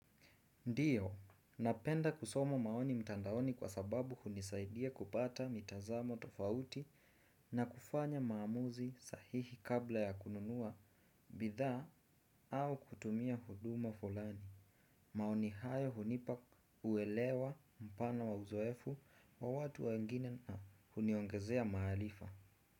Ndiyo, napenda kusoma maoni mtandaoni kwa sababu hunisaidia kupata mitazamo tofauti na kufanya maamuzi sahihi kabla ya kununua bidhaa au kutumia huduma fulani. Maoni hayo hunipa uelewa mpana wa uzoefu wa watu wangine na huniongezea maarifa.